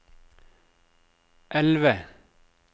elve